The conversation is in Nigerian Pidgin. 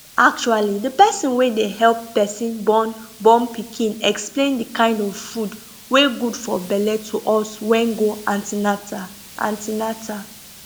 actually the person wey dey help person born born pikin explain the kind of food wey good for belle to us wen go an ten atal an ten atal